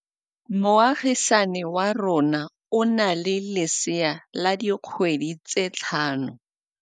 Moagisane wa rona o na le lesea la dikgwedi tse tlhano.